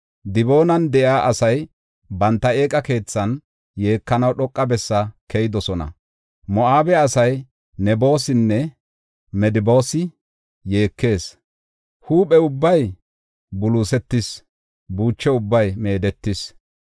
Diboonan de7iya asay banta eeqa keethan yeekanaw dhoqa bessi keyidosona. Moo7abe asay Nebosinne Medebaas yeekees. Huuphe ubbay buluusetis; buuchi ubbay meedetis.